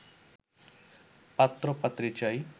পাত্র পাত্রী চাই